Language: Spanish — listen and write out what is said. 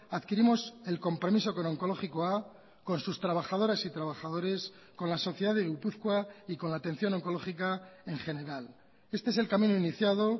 adquirimos el compromiso con onkologikoa con sus trabajadoras y trabajadores con la sociedad de gipuzkoa y con la atención oncológica en general este es el camino iniciado